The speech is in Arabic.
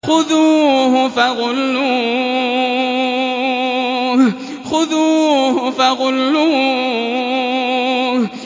خُذُوهُ فَغُلُّوهُ